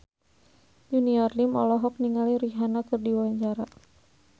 Junior Liem olohok ningali Rihanna keur diwawancara